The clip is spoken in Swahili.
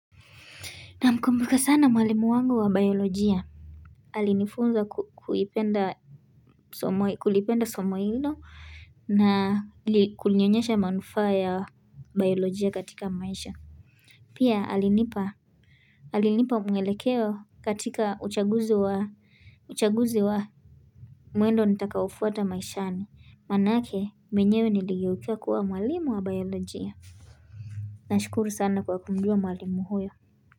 Namkumbuka sana mwalimu wangu wa biolojia Alinifunza kulipenda somo hilo na kunionyesha manufaa ya biolojia katika maisha Pia alinipa mwelekeo katika uchaguzi wa mwendo nitakaufuata maishani, manake mwenyewe niligeukia kuwa mwalimu wa biolojia Nashukuru sana kwa kumjua mwalimu huyo.